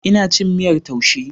Ina cin miyar taushe.